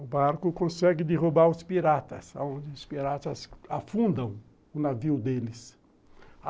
o barco consegue derrubar os piratas, onde os piratas afundam o navio deles.